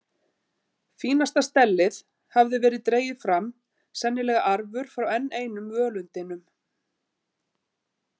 Fínasta stellið hafði verið dregið fram, sennilega arfur frá enn einum völundinum.